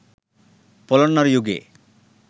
පොළොන්නරු යුගයේ